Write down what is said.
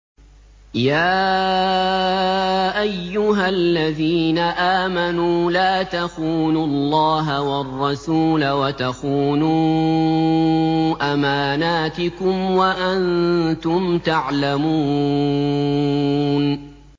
يَا أَيُّهَا الَّذِينَ آمَنُوا لَا تَخُونُوا اللَّهَ وَالرَّسُولَ وَتَخُونُوا أَمَانَاتِكُمْ وَأَنتُمْ تَعْلَمُونَ